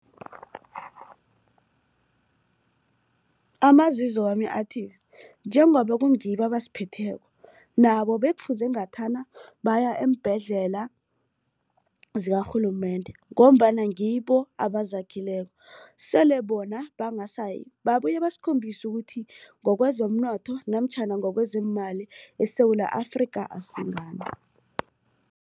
Amazizo wami athi njengoba kungibo abasiphetheko nabo bekufuze ngathana baya eembhedlela zikarhulumende. Ngombana ngibo abazakhileko sele bona bangasayi babuye basikhombisa ukuthi ngokwezomnotho namtjhana ngokwezeemali eSewula Afrika asilingani.